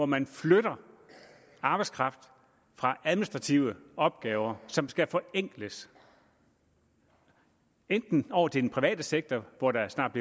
man flytter arbejdskraft fra administrative opgaver som skal forenkles enten over til den private sektor hvor der snart